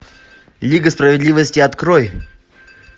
лига справедливости открой